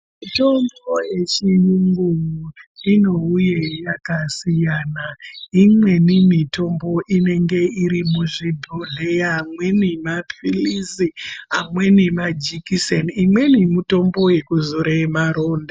Mitombo yechiyungu inouye yakasiyana. Imweni mitombo inenge iri muzvibhedhleya, imweni maphilizi amweni majekiseni imweni mutombo yekuzore maronda.